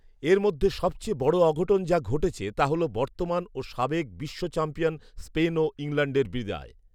এর মধ্যে সবচেয়ে বড় অঘটন যা ঘটেছে তা হলো বর্তমান ও সাবেক বিশ্ব চ্যাম্পিয়ন স্পেন ও ইংল্যান্ডের বিদায়